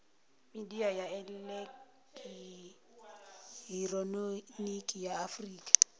midia ya elekihironiki ya afurika